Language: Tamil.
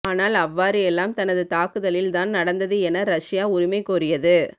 ஆனால் அவ்வாறு எல்லாம் தனது தாக்குதலில் தான் நடந்தது என ரஷ்யா உரிமை கோரியது